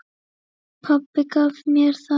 Pabbi gaf mér það.